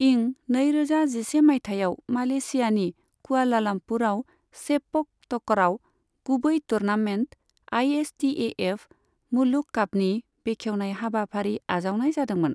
इं नैरोजा जिसे मायथाइयाव, मालयेशियानि कुआलालमपुरआव सेपक टकरावनि गुबै टुर्नामेन्ट, आईएसटीएएफ मुलुग कापनि बेखेवनाय हाबाफारि आजावनाय जादोंमोन।